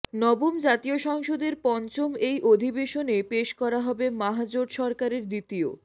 নবম জাতীয় সংসদের পঞ্চম এই অধিবেশনে পেশ করা হবে মাহজোট সরকারের দ্বিতীয়